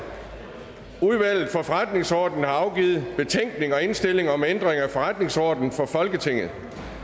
udvalget for forretningsordenen har afgivet betænkning og indstilling om ændring af forretningsordenen for folketinget